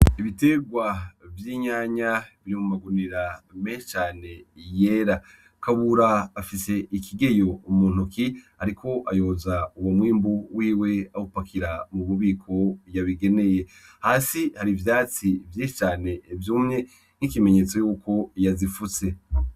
Ibeterwa vy'itomate biri mu magunira menshi cane yera. Kabura afis 'ikigeyo mu ntoki ariko ayoza uwo mwimbu wiwe awupakira mububiko yabigeneye, hasi har'ivyatsi vyinshi cane vyumye nk'ikimenyetso yuko yazifutse.